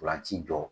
Ntolan ci jɔ